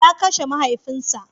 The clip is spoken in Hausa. ya Kashe mahaifin sa.